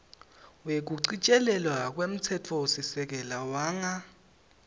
wekuchitjilelwa kwemtsetfosisekelo wanga